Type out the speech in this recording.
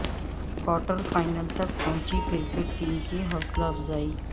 quarter final تک پہنچی cricket team کی حوصلہ افزائی